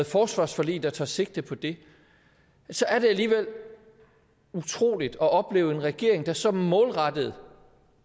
forsvarsforlig der tager sigte på det så er det alligevel utroligt at opleve en regering der så målrettet